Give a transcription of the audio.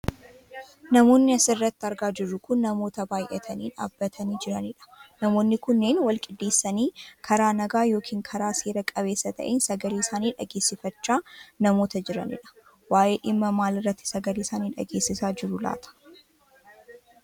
Namoonni asirratti argaa jirru kun namoota baayyatanii dhaabbatanii jiranidha. Namoonni kunneen wal qindeessanii karaa nagaa yookiin karaa seera qabeessa ta'een sagalee isaanii dhageessifachaa namoota jiranidha. Waayee dhimma maaliirratti sagalee isaanii dhageessisaa jiru laata?